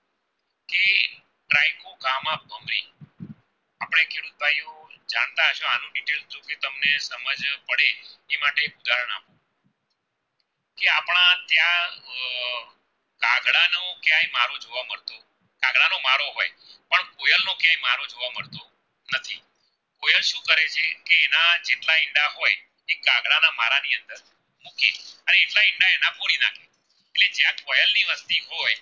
હોય